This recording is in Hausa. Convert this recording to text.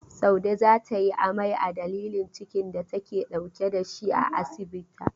Saude za ta yi amai a dalilin cikin da take dauke da shi a asibita.